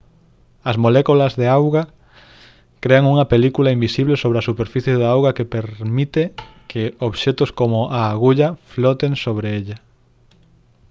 as moléculas de auga crean unha película invisible sobre a superficie da auga que permite que obxectos como a agulla floten sobre ela